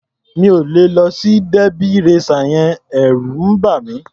Mi ò lè lọ sí derby racer yẹn. Ẹ̀rù ń bà mí.